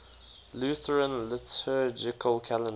lutheran liturgical calendar